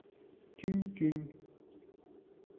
тюнь тюнь